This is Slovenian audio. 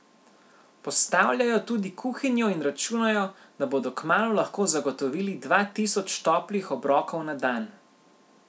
Postavljajo tudi kuhinjo in računajo, da bodo kmalu lahko zagotovili dva tisoč toplih obrokov na dan.